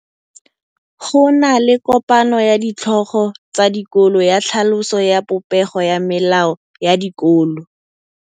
Go na le kopanô ya ditlhogo tsa dikolo ya tlhaloso ya popêgô ya melao ya dikolo.